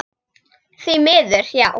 Því miður, já.